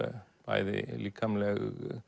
bæði líkamlega